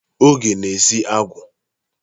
Oge na-esi agwa.